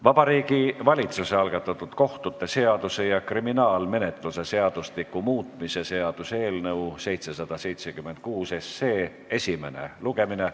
Vabariigi Valitsuse algatatud kohtute seaduse ja kriminaalmenetluse seadustiku muutmise seaduse eelnõu 776 esimene lugemine.